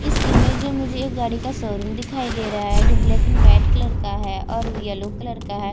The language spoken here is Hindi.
इस इमेज मे मुझे गाड़ी का शो रूम दिखाई दे रहा हैं जो ब्लैक एण्ड व्हाइट कलर का हैं और यलो कलर का हैं।